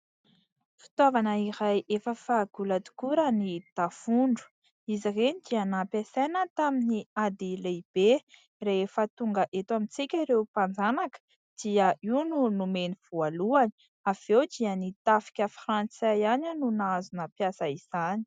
Fitaovana iray efa fahagola tokoa raha ny tafondro. Izy ireny dia nampiasaina tamin'ny ady lehibe, rehefa tonga eto amintsika ireo mpanjanaka dia io no nomeny voalohany, avy eo dia ny tafika frantsay ihany no nahazo nampiasa izany.